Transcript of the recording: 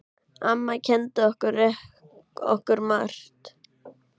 Amma kenndi okkur margt.